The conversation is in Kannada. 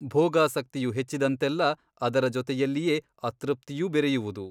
ಭೋಗಾಸಕ್ತಿಯು ಹೆಚ್ಚಿದಂತೆಲ್ಲ ಅದರ ಜೊತೆಯಲ್ಲಿಯೇ ಅತೃಪ್ತಿಯೂ ಬೆರೆಯುವುದು.